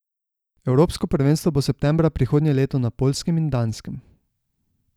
Evropsko prvenstvo bo septembra prihodnje leto na Poljskem in Danskem.